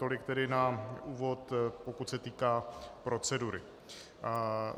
Tolik tedy na úvod, pokud se týká procedury.